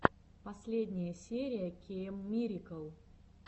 последняя серия кеиммирикл